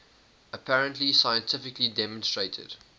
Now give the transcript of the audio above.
apparently scientifically demonstrated